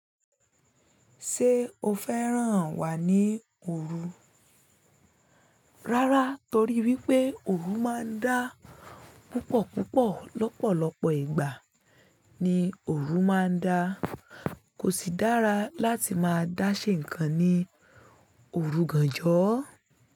Ṣé o fẹ́ràn wà ní òru? Rárá torí wípé òru máa ń dá púpọ̀ púpọ̀. Lọ́pọ̀lọ́pọ̀ ìgbà ni òru máa ń dá. Kò sì dára láti máa dá ṣẹ nǹkan ní òru gánjọ́.